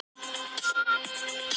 Að lokum var aðeins aðalgatan rudd.